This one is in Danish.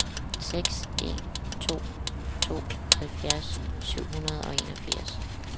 seks en to to halvfjerds syv hundrede og enogfirs